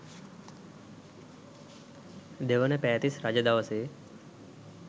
දෙවන පෑතිස් රජ දවසේ